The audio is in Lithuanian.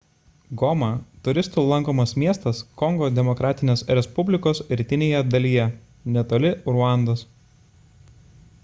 goma – turistų lankomas miestas kongo demokratinės respublikos rytinėje dalyje netoli ruandos